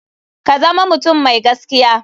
Ka zama mutum mai gaskiya.